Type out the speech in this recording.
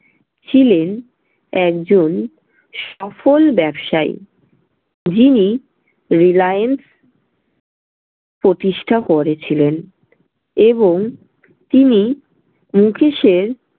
ছিলেন একজন সফল ব্যবসায়ী। যিনি রিলায়েন্স প্রতিষ্ঠা করেছিলেন এবং তিনি মুকেশের